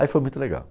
Aí foi muito legal.